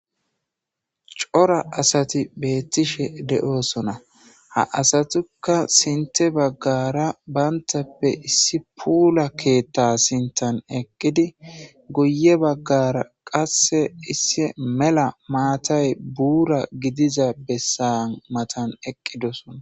Cora asati beettishe de7oosona. Ha asatukka sintte baggaara banttappe issi puula keetta sintan eqqidi guyye baggara qasse issi mela maatay buura gidiza bessan matan eqqidosona.